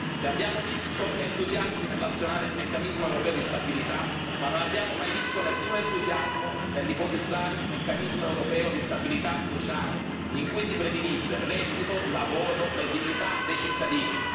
Vi abbiamo visto entusiasti nell'azionare il Meccanismo europeo di stabilità ma non abbiamo mai visto nessun entusiasmo nell'ipotizzare un Meccanismo europeo di stabilità sociale, in cui si predilige reddito, lavoro e dignità dei cittadini.